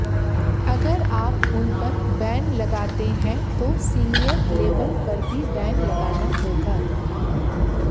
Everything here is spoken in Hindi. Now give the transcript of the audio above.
अगर आप उन पर बैन लगाते हैं तो सीनियर लेवल पर भी बैन लगाना होगा